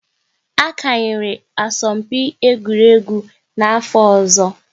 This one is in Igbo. A kanyera asọmpi egwuregwu n'afọ ọzọ